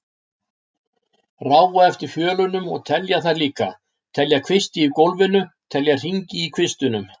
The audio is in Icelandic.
Ráfa eftir fjölunum og telja þær líka, telja kvisti í gólfinu, telja hringi í kvistunum.